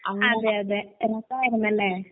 അതെയതെ. രസായിരുന്നല്ലേ?